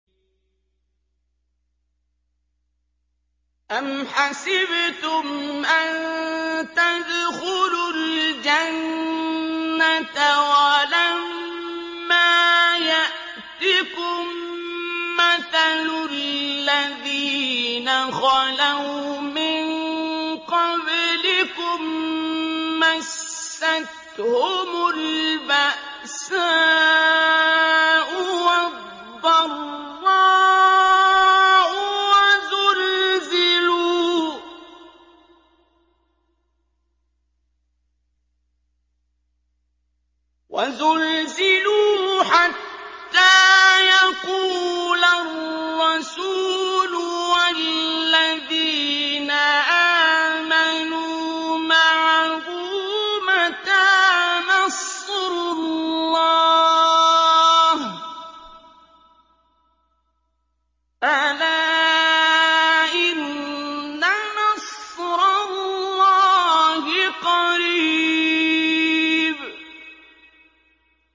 أَمْ حَسِبْتُمْ أَن تَدْخُلُوا الْجَنَّةَ وَلَمَّا يَأْتِكُم مَّثَلُ الَّذِينَ خَلَوْا مِن قَبْلِكُم ۖ مَّسَّتْهُمُ الْبَأْسَاءُ وَالضَّرَّاءُ وَزُلْزِلُوا حَتَّىٰ يَقُولَ الرَّسُولُ وَالَّذِينَ آمَنُوا مَعَهُ مَتَىٰ نَصْرُ اللَّهِ ۗ أَلَا إِنَّ نَصْرَ اللَّهِ قَرِيبٌ